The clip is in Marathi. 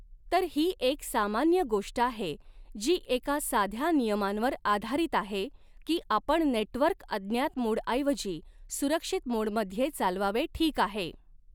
तर ही एक सामान्य गोष्ट आहे जी एका साध्या नियमांवर आधारित आहे की आपण नेटवर्क अज्ञात मोडऐवजी सुरक्षित मोडमध्ये चालवावे ठीक आहे.